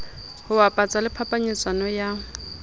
ho bapatsa le phapanyetsano ya